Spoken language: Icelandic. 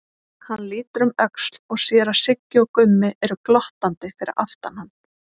Hann lítur um öxl og sér að Siggi og Gummi eru glottandi fyrir aftan hann.